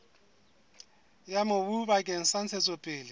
ya mobu bakeng sa ntshetsopele